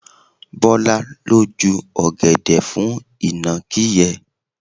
Bọlá ló ju ọ̀gẹ̀dẹ̀ fún ìnàkí yẹn.